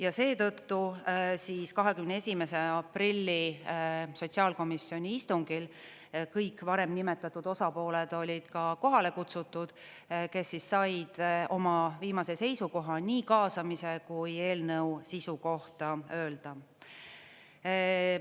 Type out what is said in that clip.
Ja seetõttu 21. aprilli sotsiaalkomisjoni istungil kõik varem nimetatud osapooled olid ka kohale kutsutud, kes said oma viimase seisukoha nii kaasamise kui eelnõu sisu kohta öelda.